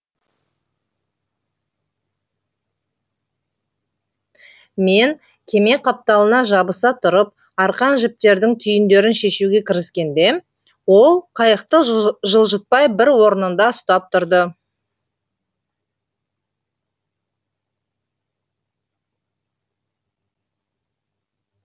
мен кеме қапталына жабыса тұрып арқан жіптердің түйіндерін шешуге кіріскенде ол қайықты жылжытпай бір орнында ұстап тұрды